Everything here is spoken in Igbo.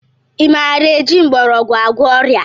I maara eji mgbọrọgwụ agwọ ọrịa?